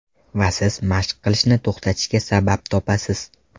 Va siz mashq qilishni to‘xtatishga sabab topasiz.